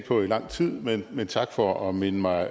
på i lang tid men men tak for at minde mig